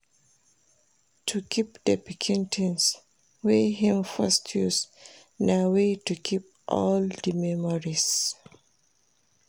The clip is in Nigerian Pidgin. To keep the pikin things wey im first use na way to keep di memories